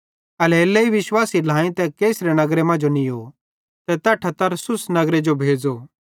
एल्हेरेलेइ विश्वासी ढ्लाएईं तै कैसरिया नगरे मांजो नीयो ते तैट्ठां तरसुसे नगरे जो भेज़ो